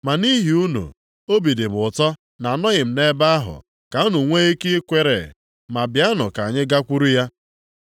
Ma nʼihi unu, obi dị m ụtọ na anọghị m nʼebe ahụ, ka unu nwe ike kwere. Ma bịanụ ka anyị gakwuru ya.”